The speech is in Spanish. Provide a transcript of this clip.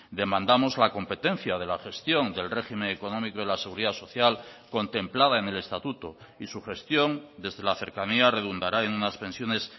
demandamos la competencia de la gestión del régimen económico de la seguridad social contemplada en el estatuto y su gestión desde la cercanía redundará en unas pensiones